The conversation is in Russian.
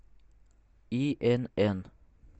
инн